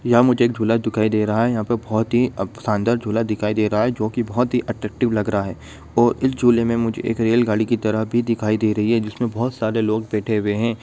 यह मुझे एक झूला दिखाई दे रहा है यहाँ बहुत ही संदर झूला दिखाई दे रहा है जो की बहुत है अट्रेटिव लग रहा है और इस जुले में मुझे एक रेल गाड़ी की तरह भी दिखाई दे रही है जिसमे बहोत सारे लोग बेठे हुए है ।